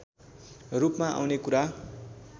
रूपमा आउने कुरा